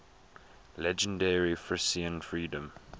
legendary frisian freedom